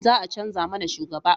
Za a canja mana shugaba